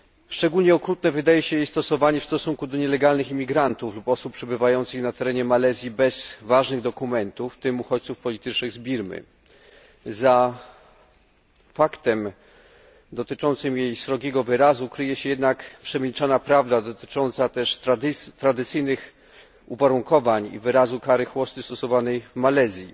Szczególnie okrutne wydaje się jej stosowanie w stosunku do nielegalnych imigrantów lub osób przebywających na terenie Malezji bez ważnych dokumentów, w tym uchodźców politycznych z Birmy. Za faktem dotyczącym jej srogiego wyrazu kryje się jednak przemilczana prawda dotycząca też tradycyjnych uwarunkowań i wyrazu kary chłosty stosowanej w Malezji.